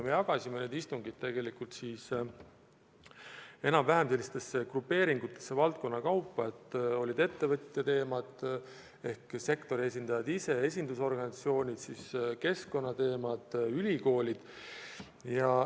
Me jagasime need istungid enam-vähem valdkondade kaupa gruppidesse: olid ettevõtjate teemad, mille arutelul osalesid ka sektori esindajad, olid esindusorganisatsioonid, keskkonnateemad, ülikoolid.